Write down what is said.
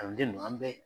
Kalanden ninnu an bɛ